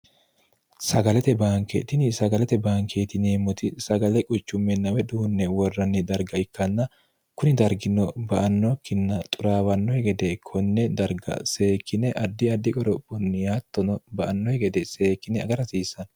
sagalete baankee tini sagalete baankeeti yineemmoti sagale quchummenna woy duunne worranni darga ikkanna kuni dargino ba''annokkinna xuraawannohi gede konne darga seekkine addi addi qorophunni hattono ba''annokki gede seekkine agara hasiissanno